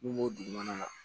N'u b'o dugu mana